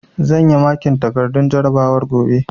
Zan yi makin takardun jarabawar gobe